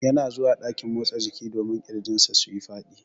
Yana zuwa dakin motsa jiki domin kirjin sa suyi Fadi.